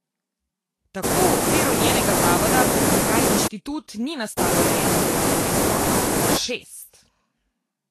Tako v okviru njenega zavoda Potencial Inštitut ni nastalo le eno delovno mesto, ampak šest.